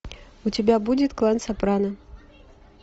у тебя будет клан сопрано